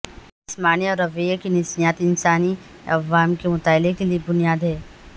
جسمانی اور رویے کی نفسیات انسانی عوامل کے مطالعہ کے لئے بنیاد ہیں